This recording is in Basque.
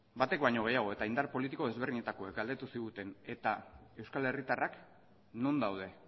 batek baino gehiago eta indar politiko ezberdinetakoek galdetu ziguten eta euskal herritarrak non daude